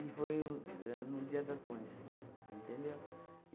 E foi o éh num dia das mães, entendeu?